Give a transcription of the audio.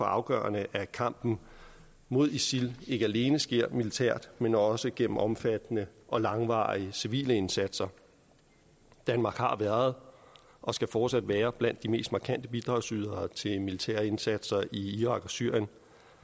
afgørende at kampen mod isil ikke alene sker militært men også gennem omfattende og langvarige civile indsatser danmark har været og skal fortsat være blandt de mest markante bidragsydere til militære indsatser i irak og syrien